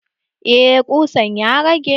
Eh ƙusan ya rage.